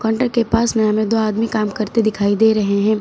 घर के पास में हमें दो आदमी काम करते दिखाई दे रहे हैं।